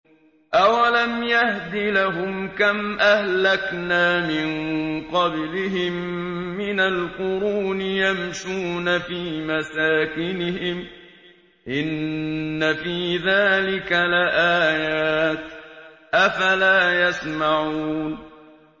أَوَلَمْ يَهْدِ لَهُمْ كَمْ أَهْلَكْنَا مِن قَبْلِهِم مِّنَ الْقُرُونِ يَمْشُونَ فِي مَسَاكِنِهِمْ ۚ إِنَّ فِي ذَٰلِكَ لَآيَاتٍ ۖ أَفَلَا يَسْمَعُونَ